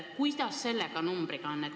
Kuidas selle arvuga on?